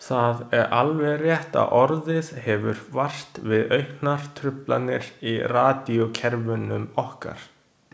Það er alveg rétt að orðið hefur vart við auknar truflanir í radíókerfunum okkar.